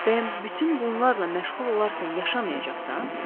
Bəyəm bütün bunlarla məşğul olarkən yaşamayacaqsan?